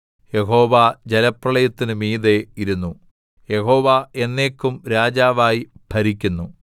യഹോവ ജലപ്രളയത്തിനു മീതെ ഇരുന്നു യഹോവ എന്നേക്കും രാജാവായി ഭരിക്കുന്നു